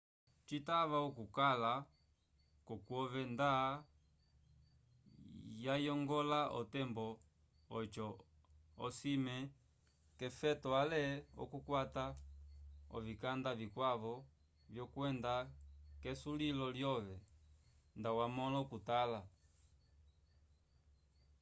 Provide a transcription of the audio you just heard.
citava okukala k’okwove nda wayongola otembo oco osime k’efeto ale k’okukwata ovikanda vikwavo vyokwenda k’esulilo lyove nda wamõla okutala